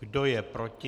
Kdo je proti?